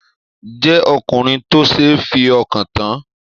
Jẹ ọkùnrin tó ṣe f'ọkan tán!